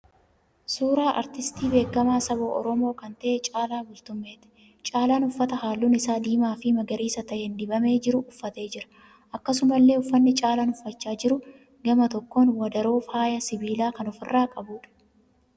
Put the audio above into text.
Suuraa aartistii beekamaa saba Oromoo kan ta'e Caalaa Bultumeeti. Caalaan uffata halluun isaa diimaa fi magariisa ta'een dibamee jiru uffatee jira. Akkasumallee uffatni Caalaan uffachaa jiru gama tokkoon wadaroo faaya sibiilaa kan ofi irraa qabuudha.